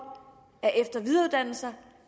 at eftervidereuddanne sig